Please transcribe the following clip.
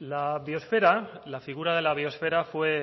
la biosfera la figura de la biosfera fue